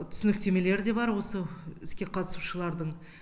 түсініктемелері де бар осы іске қатысушылардың